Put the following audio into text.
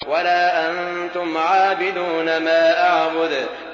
وَلَا أَنتُمْ عَابِدُونَ مَا أَعْبُدُ